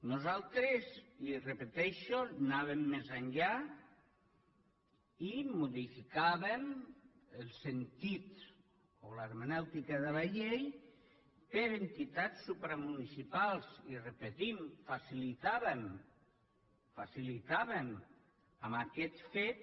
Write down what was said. nosaltres i ho repeteixo anàvem més enllà i modificàvem el sentit o l’hermenèutica de la llei per entitats supramunicipals i ho repetim facilitàvem amb aquest fet